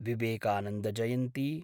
Vivekananda Jayanti